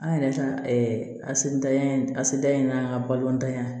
An yɛrɛ ka asidanya in asidiya in n'an ka balɔntanya